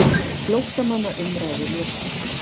FLÓTTAMANNA UMRÆÐU LOKIÐ